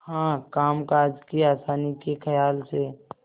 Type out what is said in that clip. हाँ कामकाज की आसानी के खयाल से